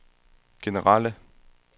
generelle